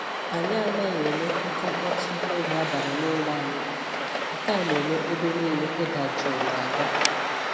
Anyị anaghị eme oke mkpọtụ n'oge abalị n'ụlọ anyị, nke a na-eme ebe niile ịda jụụ n'ahụ